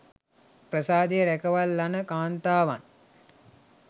ප්‍රාසාදය රැකවල් ලන කාන්තාවන්